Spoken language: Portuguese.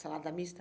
Salada mista?